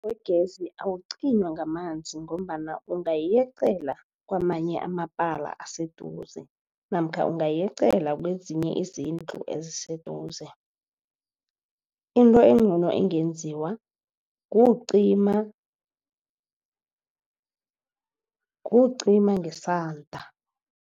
Wegezi awucinywa ngamanzi ngombana ungayeqela kwamanye amapala aseduze namkha ungayeqela kwezinye izindlu eziseduze. Into engcono engenziwa kuwucima kuwucima ngesanda.